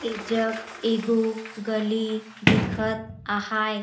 एजग एगो गली दिखत आहैं।